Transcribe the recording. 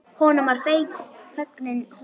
Hið frjálsa kynlíf verður til.